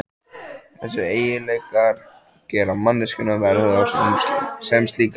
Þessir eiginleikar gera manneskjuna verðuga sem slíka.